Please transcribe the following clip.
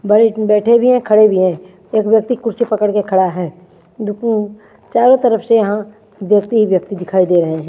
बड़े बैठे भी हैं खड़े भी हैं एक व्यक्ति कुर्सी पकड़ के खड़ा है चारों तरफ से यहां व्यक्ति ही व्यक्ति दिखाई दे रहे--